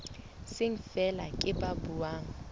seng feela ke ba buang